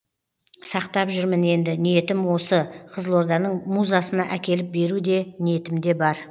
сақтап жүрмін енді ниетім осы қызылорданың музасына әкеліп беру де ниетімде бар